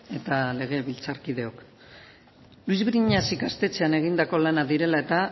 eta legebiltzarkideok luis briñas ikastetxean egindako lanak direla eta